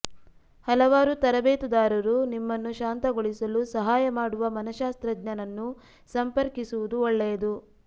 ಹಲವಾರು ತರಬೇತುದಾರರು ನಿಮ್ಮನ್ನು ಶಾಂತಗೊಳಿಸಲು ಸಹಾಯ ಮಾಡುವ ಮನಶ್ಶಾಸ್ತ್ರಜ್ಞನನ್ನು ಸಂಪರ್ಕಿಸುವುದು ಒಳ್ಳೆಯದು